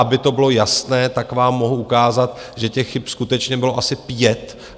Aby to bylo jasné, tak vám mohu ukázat, že těch chyb skutečně bylo asi pět.